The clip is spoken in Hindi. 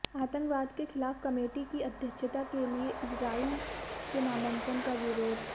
आतंकवाद के ख़िलाफ़ कमेटी की अध्यक्षता के लिए इस्राईल के नामांकन का विरोध